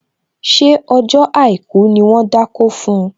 Ṣé ọjọ́ àìkú ni wón dákó fun?